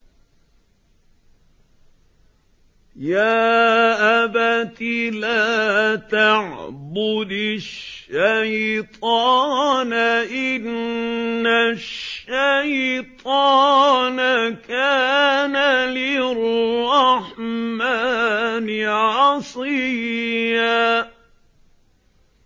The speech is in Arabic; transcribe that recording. يَا أَبَتِ لَا تَعْبُدِ الشَّيْطَانَ ۖ إِنَّ الشَّيْطَانَ كَانَ لِلرَّحْمَٰنِ عَصِيًّا